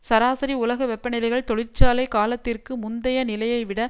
சராசரி உலக வெப்பநிலைகள் தொழிற்சாலை காலத்திற்கு முந்தைய நிலையை விட